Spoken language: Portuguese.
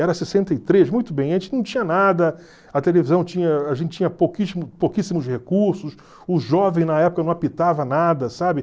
Era sessenta e três, muito bem, antes não tinha nada, a televisão, tinha a gente tinha pouquíssimo pouquíssimos recursos, o jovem na época não apitava nada, sabe?